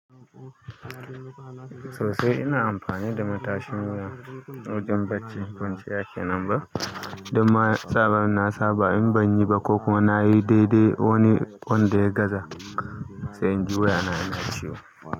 Sosai ina amfani da matashin wuya wajen barci kwanciya kenan ba. Danma daman nasaba in banyi ba kokuma nayi dai dai wani wanda ya gaza sai inji wuyana yana ciwo.